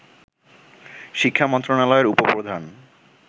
শিক্ষামন্ত্রণালয়ের উপ-প্রধান